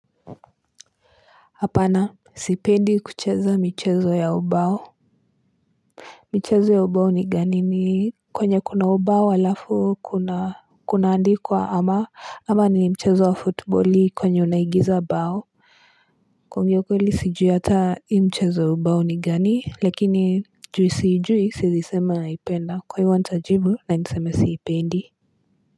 Hapana Sipendi kucheza michezo ya ubao michezo ya ubao ni gani ni kwenye kuna ubao alafu kunaandikwa ama ama ni mchezo wa futbali kwenye unaigiza bao kuongea ukweli sijui hata hii mchezo ya ubao ni gani lakini juu siijui siezi sema naipenda kwa hivo ntajibu na niseme siipendi.